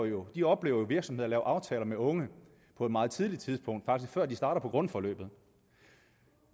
jo jo oplever virksomheder lave aftaler med unge på et meget tidligt tidspunkt faktisk før de starter på grundforløbet